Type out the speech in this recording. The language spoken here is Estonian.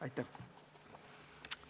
Aitäh!